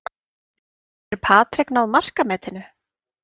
Getur Patrick náð markametinu?